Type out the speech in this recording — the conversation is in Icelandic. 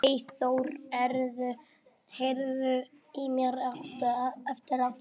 Eyþór, heyrðu í mér eftir átta mínútur.